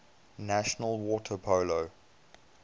national water polo